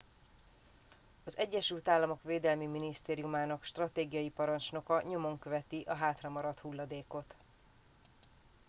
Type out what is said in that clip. az egyesült államok védelmi minisztériumának stratégiai parancsnoka nyomon követi a hátramaradt hulladékot